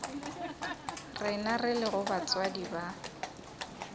rena re lego batswadi ba